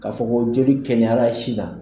K'a fɔ ko jeli kɛnɛyara si dan.